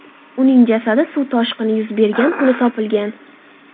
Uning jasadi suv toshqini yuz bergan kuni topilgan.